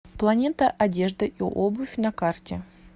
планета одежда и обувь на карте